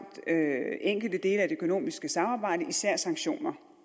enkelte dele af det økonomiske samarbejde især sanktioner